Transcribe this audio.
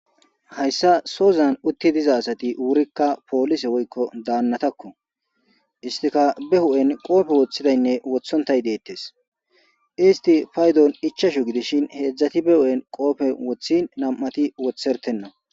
hayssa sozan utti diza asati wurikka poolise woykko daannatakko istika be hu'en qoofe woththidaynne wothontay deettes isti paydon ichashu gidishin heedzdzati be hu'en qoofe woththi nam'ati wothertenna